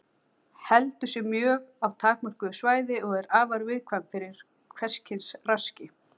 Heldur sig á mjög takmörkuðu svæði og er afar viðkvæm fyrir hvers kyns raski.